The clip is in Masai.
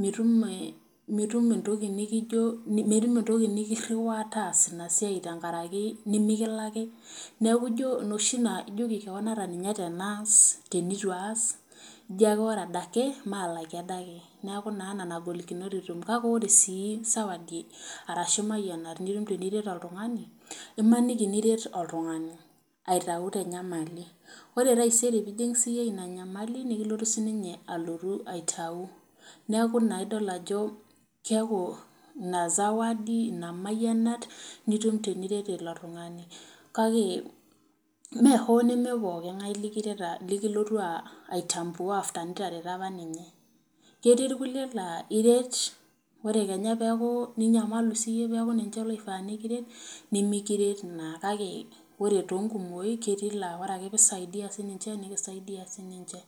mitum eeh, metumu entoki nikijo,, metum entoki nikiriwaa taasa ina siai tenkaraki nimikilaki neeku ijo enoshi naa ijoki kewan ata ninye tenaas, teneitu aas ijo ake ore adake maalaki adake, neeku naa nena golikinot etumi, kake ore sii sawadi arashu imayianat nitum teniret oltung'ani imaniki niret oltung'ani aitayu te nyamali, ore taisere piijing siiyie ina nyamali nikilotu sininye alotu aitau, neeku naa idol ajo keeku ina sawadi keeku ina sawadi, ina mayianat nitum teniret ilo tung'ani kake mee hoo neme pookingae likiret likilotu aitambua after nitareto apa ninche ketii irkuliek laa iret ore kenya peeku ninyamalu siiyie peeku ninche loifaa nikiret nimikiret naa. kake ore te nkumoi ketii laa ore ake pee isadia sii ninche nikisaidia sii ninche.